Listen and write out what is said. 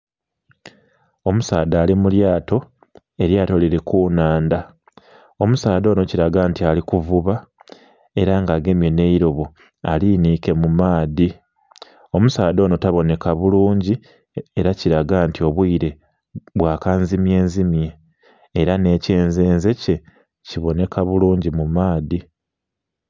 Omusaadha ali mu lyato, elyato lili ku nnhandha. Omusaadha onho kilaga nti ali kuvuba ela nga agemye nh'eilobo alinhiike mu maadhi. Omusaadha onho tabonheka bulungi ela kilaga nti obwile bwa kanzimyenzimye. Ela nh'ekyenzenze kye kibonheka bulungi mu maadhi.